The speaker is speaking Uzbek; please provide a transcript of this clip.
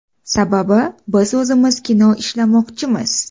Sababi, biz o‘zimiz kino ishlamoqchimiz.